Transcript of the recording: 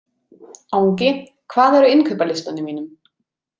Angi, hvað er á innkaupalistanum mínum?